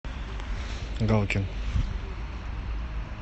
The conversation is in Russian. галкин